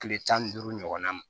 Tile tan ni duuru ɲɔgɔnna ma